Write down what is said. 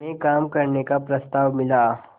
में काम करने का प्रस्ताव मिला